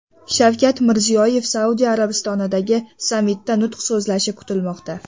Shavkat Mirziyoyev Saudiya Arabistonidagi sammitda nutq so‘zlashi kutilmoqda.